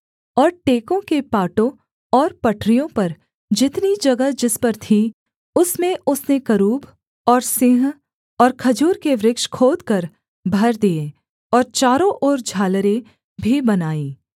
और टेकों के पाटों और पटरियों पर जितनी जगह जिस पर थी उसमें उसने करूब और सिंह और खजूर के वृक्ष खोदकर भर दिये और चारों ओर झालरें भी बनाईं